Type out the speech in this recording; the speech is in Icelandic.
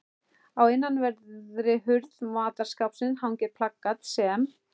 Á innanverðri hurð matarskápsins hangir plakat sem